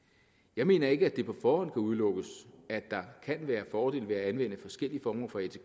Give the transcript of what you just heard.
jeg mener ikke at det på forhånd kan udelukkes at der kan være fordele ved at anvende forskellige former for atk